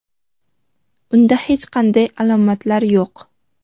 Unda hech qanday alomatlar yo‘q.